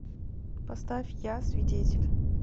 поставь я свидетель